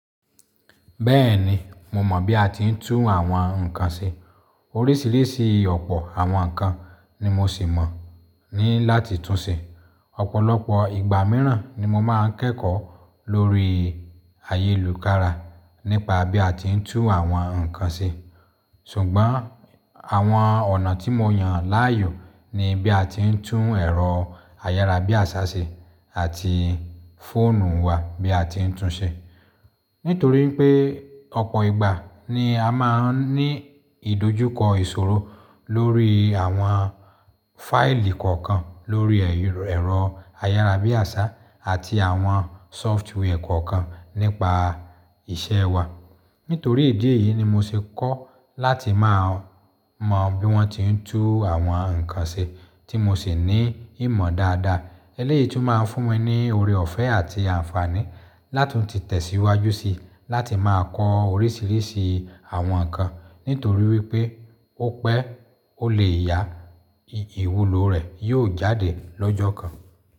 Bẹ́ẹ̀ni, mo mọ̀ bí a ti ń tún àwọn nǹkan ṣe. Oríṣìíríṣìí ọ̀pọ̀ àwọn nǹkan ni mo sì mọ̀ ní láti tún ṣe. Ọ̀pọ̀lọpọ̀ ìgbà mìíràn ni mo máa ń kẹ́kọ̀ọ́ lórí ayélujára nípa bí a ti ń tún àwọn nǹkan ṣe. Ṣùgbọ́n àwọn ọ̀nà tí mo yàn láàyò ni bí a ti ń tún ẹ̀rọ ayárabíàṣá ṣe àti fóònù wa bí a ti ń tún ṣe. Nitori pe ọpọ ìgba ni a máa n ni ìdojúkọ ìṣòro lori awọn faili kọ̀ọ̀kan lori ẹ̀rọ ayarabiaṣa ati awọn software kọ̀ọ̀kan nípa iṣẹ́ wa, nítorí ìdí èyí ni mo ṣe kọ́ láti máa mọ bí wọ́n ti ń tún àwọn nǹkan ṣe tí mo sì ní ìmọ̀ dáadáa. Eléyìí tún máa ń fún mi ní oore ọ̀fẹ́ àti àǹfààní lá tun ti tìtẹ̀síwájú síi láti máa kọ oríṣìíríṣìí àwọn nǹkan. Nítorí wípé ó pẹ́ ó lè ya ìwúlò rẹ̀ yóò jáde lọ́jọ́ kan.